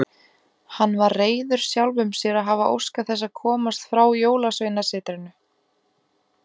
Hann var reiður sjálfum sér að hafa óskað þess að komast frá Jólasveinasetrinu.